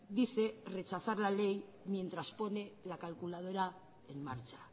dice rechazar la ley mientras pone la calculadora en marcha